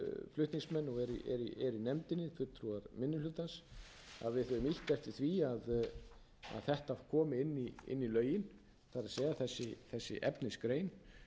flutningsmenn og eru í nefndinni fulltrúar minni hlutans að við höfum lýst eftir því að þetta komi inn í lögin það er þessi efnisgrein